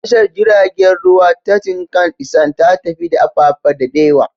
Tashar jiragen ruwa ta Tinkan Isand ta fi da Apapa daɗewa.